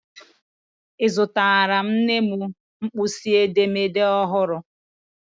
Azụtarala m nne m mkpịsị edemede ọhụrụ..